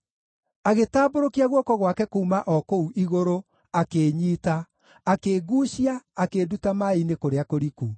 Agĩtambũrũkia guoko gwake kuuma o kũu igũrũ, akĩĩnyiita; akĩnguucia, akĩnduta maaĩ-inĩ kũrĩa kũriku.